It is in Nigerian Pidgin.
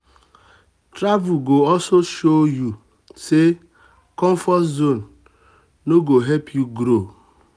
travel go also show um you um say comfort zone no go um help you grow.